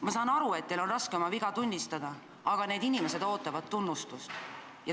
Ma saan aru, et teil on raske oma viga tunnistada, aga need inimesed ootavad tunnustust.